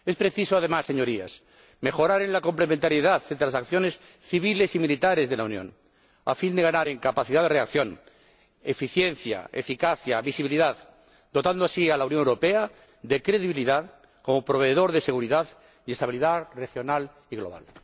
Es preciso, además, Señorías, mejorar en la complementariedad de las acciones civiles y militares de la Unión, a fin de ganar en capacidad de reacción, eficiencia, eficacia y visibilidad, dotando así a la Unión Europea de credibilidad como proveedor de seguridad y estabilidad regional y global.